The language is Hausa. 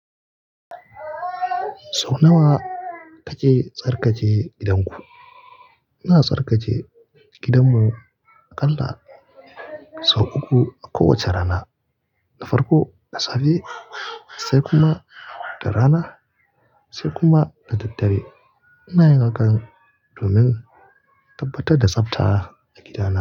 Sau nawa kake tsarkaje gidanku? Ina tsarkake gidanmu aƙalla sau uku a kowace rana. Na farko, da safe sai kuma da rana sai kuma da daddare. Ina yin hakan domin tabbatar da tsafta a gidana.